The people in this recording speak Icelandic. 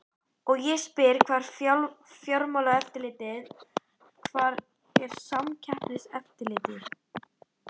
Og ég spyr hvar er Fjármálaeftirlitið, hvar er Samkeppniseftirlitið?